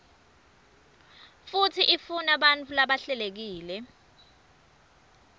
futsi ifunabantfu labahlelekile